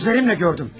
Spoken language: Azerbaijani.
Gözlərimlə gördüm.